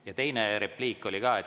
Ja teine repliik oli ka.